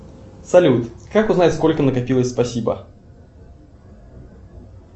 салют как узнать сколько накопилось спасибо